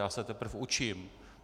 Já se teprve učím.